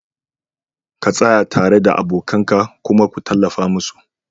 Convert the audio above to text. ka tsaya tare da abokan ka kuma ku tallafa musu